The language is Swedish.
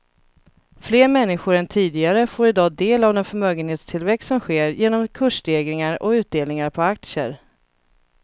Fler människor än tidigare får i dag del av den förmögenhetstillväxt som sker genom kursstegringar och utdelningar på aktier.